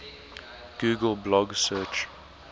google blog search